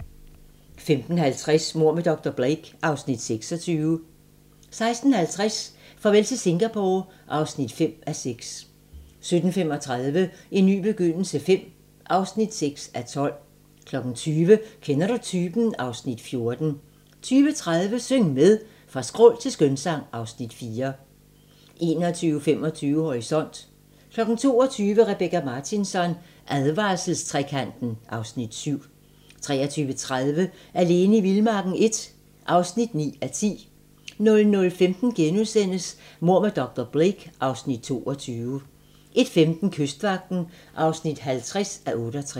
15:50: Mord med dr. Blake (Afs. 26) 16:50: Farvel til Singapore (5:6) 17:35: En ny begyndelse V (6:12) 20:00: Kender du typen? (Afs. 14) 20:30: Syng med! Fra skrål til skønsang (Afs. 4) 21:25: Horisont 22:00: Rebecka Martinsson: Advarselstrekanten (Afs. 7) 23:30: Alene i vildmarken I (9:10) 00:15: Mord med dr. Blake (Afs. 22)* 01:15: Kystvagten (50:68)